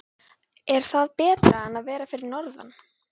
Er það betra en að vera fyrir norðan?